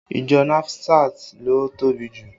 Ìjọ nasifat ló tóbi jù